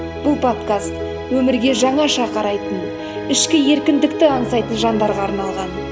бұл подкаст өмірге жаңаша қарайтын ішкі еркіндікті аңсайтын жандарға арналған